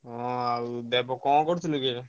ହଁ ଆଉ ଦେବ କଣ କରୁଥିଲୁ କି?